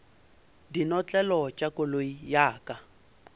dinotlelo tša koloi ya ka